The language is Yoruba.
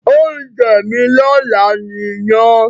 Ounje mí lọ́la ni iyán